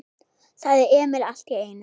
sagði Emil allt í einu.